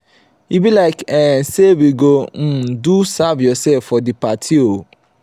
e be like um sey we go um do serve-yoursef for di party o.